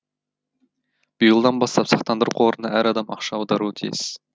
биылдан бастап сақтандыру қорына әр адам ақша аударуы тиіс